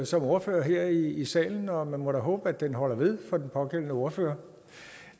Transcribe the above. som ordfører her i salen og man må da håbe at den holder ved for den pågældende ordfører